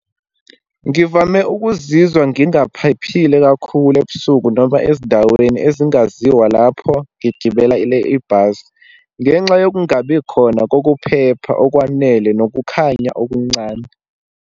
Ngivame ukuzizwa ngingaphephile kakhulu ebusuku, noma ezindaweni ezingaziwa lapho ngigibelela ibhasi ngenxa yokungabi khona kokuphepha okwanele, nokukhanya okuncane.